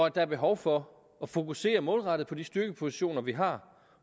at der er behov for at fokusere målrettet på de styrkepositioner vi har